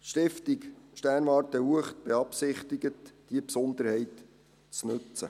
Die Stiftung Sternwarte Uecht beabsichtigt, diese Besonderheit zu nutzen.